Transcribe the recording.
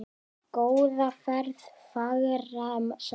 Góða ferð, fagra sál.